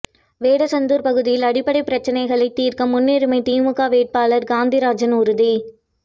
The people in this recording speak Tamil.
வேடசந்தூர் பகுதியில் அடிப்படை பிரச்னைகளை தீர்க்க முன்னுரிமை திமுக வேட்பாளர் காந்திராஜன் உறுதி